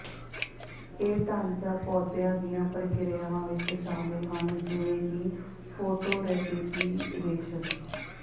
ਇਹ ਢਾਂਚਾ ਪੌਦਿਆਂ ਦੀਆਂ ਪ੍ਰਕਿਰਿਆਵਾਂ ਵਿੱਚ ਸ਼ਾਮਲ ਹਨ ਜਿਵੇਂ ਕਿ ਫੋਟੋਰੇਪੀਪੀਰੇਸ਼ਨ